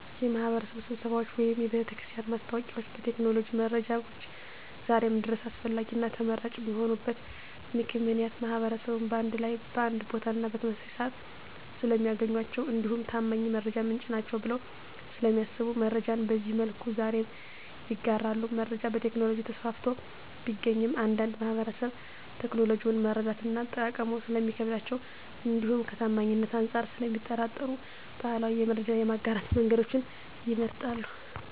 የማህበረሰብ ስብሰባዎች ወይም የቤተክርስቲያን ማስታወቂያዎች ከቴክኖሎጂ መረጃዎች ዛሬም ድረስ አስፈላጊና ተመራጭ የሆኑበት ምክንያት ማህበረሰቡን በአንድ ላይ በአንድ ቦታና በተመሳሳይ ስዓት ስለሚያገኟቸው እንዲሁም ታማኝ የመረጃ ምንጭ ናቸዉ ብለው ስለሚያስቡ መረጃን በዚህ መልኩ ዛሬም ይጋራሉ። መረጃ በቴክኖሎጂ ተስፋፍቶ ቢገኝም አንዳንድ ማህበረሰብ ቴክኖሎጂውን መረዳትና አጠቃቀሙ ስለሚከብዳቸው እንዲሁም ከታማኝነት አንፃር ስለሚጠራጠሩ ባህላዊ የመረጃ የማጋራት መንገዶችን ይመርጣሉ።